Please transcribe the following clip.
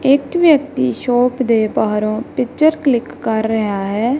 ਇਕ ਵਿਅਕਤੀ ਸ਼ੋਪ ਦੇ ਬਾਹਰੋਂ ਪਿਕਚਰ ਕਲਿੱਕ ਕਰ ਰਿਹਾ ਹੈ।